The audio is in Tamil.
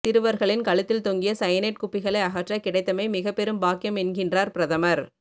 சிறுவர்களின் கழுத்தில் தொங்கிய சயனைட் குப்பிகளை அகற்ற கிடைத்தமை மிகப்பெரும் பாக்கியம் என்கின்றார் பிரதமர்